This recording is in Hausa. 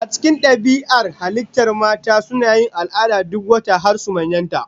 A cikin dabi'ar halittar mata, suna yin al'ada duk wata har su manyanta.